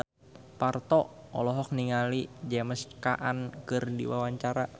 Parto olohok ningali James Caan keur diwawancara